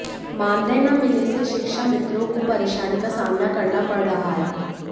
मानदेय न मिलने से शिक्षामित्रों को परेशानी का सामना करना पड़ रहा है